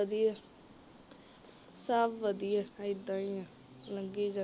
ਵਧੀਆ ਸਭ ਵਧੀਆ ਏਦਾਂ ਹੀ ਆ ਲਘੀ ਜਾਂਦਾ